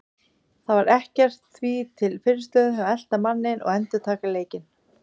Það var ekkert því til fyrirstöðu að elta manninn og endurtaka leikinn.